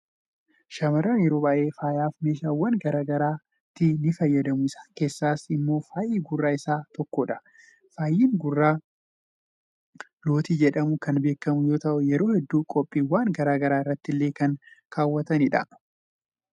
shaamarran yeroo baay'ee faayaaf meeshaawwan gara garaatti ni fayyadamu. isaan keessaas immoo faayi gurraa isa tokkodha. faayi gurraa lootii jedhamuun kan beekamu yoo ta'u yeroo hedduu qophiiwwan gara garaa irrattillee kan kaawwatamanidha.